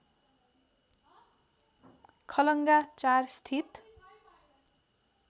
खलङ्गा ४ स्थित